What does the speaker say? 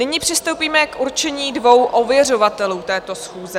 Nyní přistoupíme k určení dvou ověřovatelů této schůze.